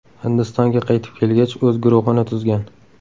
Hindistonga qaytib kelgach, o‘z guruhini tuzgan.